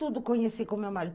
Tudo conheci com meu marido.